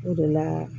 O de la